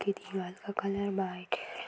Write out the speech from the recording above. की दीवाल का कलर --